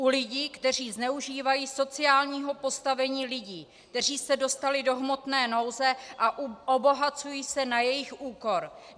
U lidí, kteří zneužívají sociálního postavení lidí, kteří se dostali do hmotné nouze a obohacují se na jejich úkor.